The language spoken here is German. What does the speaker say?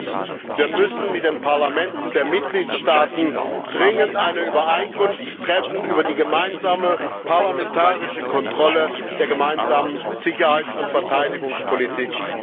Viertens Wir müssen mit den Parlamenten der Mitgliedstaaten dringend eine Übereinkunft treffen über die gemeinsame parlamentarische Kontrolle der Gemeinsamen Sicherheits und Verteidigungspolitik.